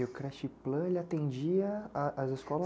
E o creche Plan, ele atendia as escolas?